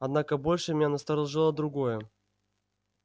однако больше меня насторожило другое